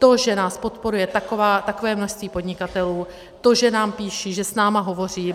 To, že nás podporuje takové množství podnikatelů, to, že nám píší, že s námi hovoří.